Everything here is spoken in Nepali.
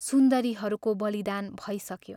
सुन्दरीहरूको बलिदान भैसक्यो।